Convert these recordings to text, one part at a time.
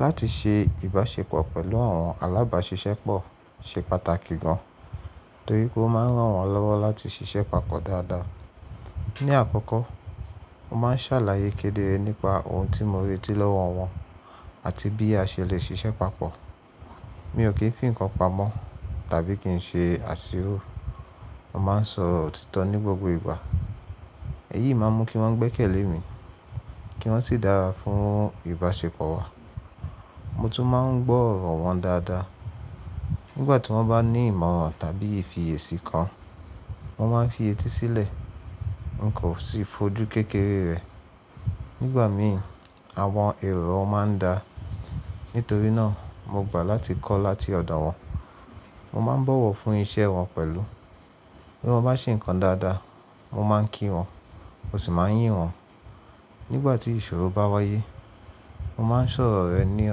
Láti ṣe ìbáṣepọ̀ pẹ̀lú àwọn alábàáṣiṣẹ́ pọ̀ ṣe pàtàkì gan, torí pé ó máa ń ràn wọ́n lọ́wọ́ láti ṣiṣẹ́ papọ̀ dáadáa. Ni àkọ́kọ́, mo máa ń ṣàlàyé kedere nípa ohun tí mo retí lọ́wọ́ wọn àti bí a ṣe lè ṣiṣẹ́ papọ̀. Mi ò kí n fi nǹkan pamọ́ tàbí kí n ṣe àṣírò. Mo máa ń sọ òtítọ́ ní gbogbo ìgbà. Èyí máa ń mú kí wọ́n gbẹ́kẹ̀lé mi, kí wọ́n sì dára fún ìbáṣepọ̀ wa. Mo tún máa ń gbọ́ ọ̀rọ̀ wọn dáadáa. Nígbà tí wọ́n bá ní ìmọ̀ràn tàbí ìfiyèsí kan, mo máa ń fi etí sílẹ̀, n kò sì fojú kékeré rẹ̀. Nígbà mi, àwọn èrò wọn máa ń da. Nítorí náà, mo gbà láti kọ́ láti ọ̀dọ̀ wọn. Mo máa ń bọ̀wọ̀ fún iṣẹ́ wọn pẹ̀lú. Bí wọ́n bá ṣe nǹkan dáadáa, mo máa ń kí wọn, mo sì máa ń yìn wọn. Nígbà tí ìṣòro bá wáyé, mo máa ń sọ̀rọ̀ rẹ̀ ní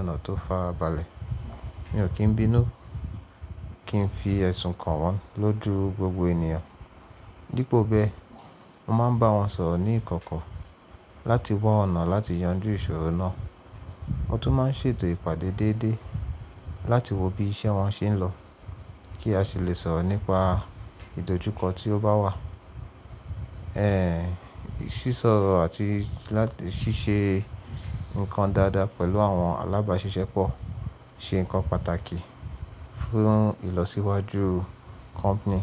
ọ̀nà tó fara abalẹ̀. Mi ò kí ń bínú kí n fi ẹ̀sùn kàn wọ́n lójú gbogbo ènìyàn. Dípo bẹ́ẹ̀, mo máa ń bá wọn sọ̀rọ̀ ní ìkọ̀kọ̀ láti wa ọ̀nà láti yanjú ìṣòro náà. Mo tún máa ń ṣètò ìpàdé déédéé láti wo bí iṣẹ́ wọn ṣe ń lọ kí a sì lè sọ̀rọ̀ nípa ìdójúkọ tí ó bá wà. Ẹ̀, sísọ àti ṣíṣe nǹkan dáadáa pẹ̀lú àwọn alábáṣiṣẹ́ pọ̀ ṣe nǹkan pàtàkì fún ìlọsíwájú company.